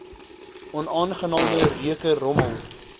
onaangename reuke rommel